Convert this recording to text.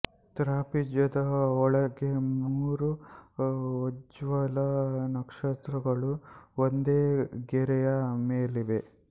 ತ್ರಾಪಿಜ್ಯದ ಒಳಗೆ ಮೂರು ಉಜ್ಜ್ವಲ ನಕ್ಷತ್ರಗಳು ಒಂದೇ ಗೆರೆಯ ಮೇಲಿವೆ